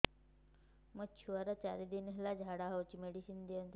ମୋର ଛୁଆର ଚାରି ଦିନ ହେଲା ଝାଡା ହଉଚି ମେଡିସିନ ଦିଅନ୍ତୁ